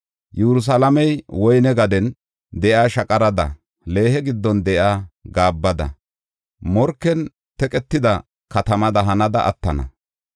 Yerusalaamey woyne gaden de7iya shaqarada, leehe giddon de7iya gaabbadanne morken teqetida katamada hanada attana.